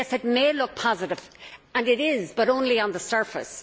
Yes, it may look positive, and it is, but only on the surface.